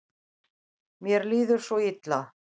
Mér líður svo illa.